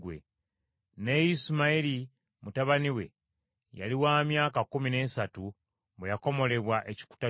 Ne Isimayiri mutabani we yali wa myaka kkumi n’esatu bwe yakomolebwa ekikuta ky’omubiri gwe.